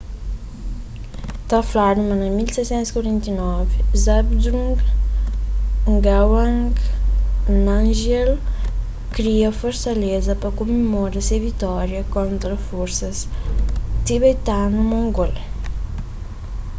ta fladu ma na 1649 zhabdrung ngawang namgyel kria kel fortaleza pa kumemora se vitória kontra forsas tibetanu-mongol